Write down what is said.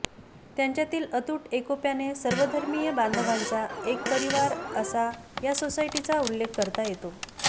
त्यांच्यातील अतूट एकोप्याने सर्वधर्मीय बांधवांचा एक परिवार असा या सोसायटीचा उल्लेख करता येतो